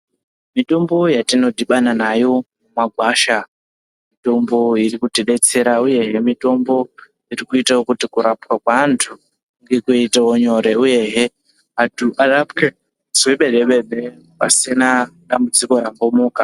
Mitombo yatinodhibana nayo mumagwasha mitombo irikutidetsera uyehe mitombo irikuitawo kuti kurapwa kweantu kuite nyore. Uyehe antu arapwe zvemene-mene pasina dambudziko rambomuka